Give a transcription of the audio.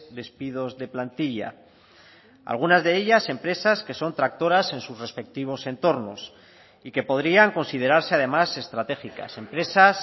despidos de plantilla algunas de ellas empresas que son tractoras en sus respectivos entornos y que podrían considerarse además estratégicas empresas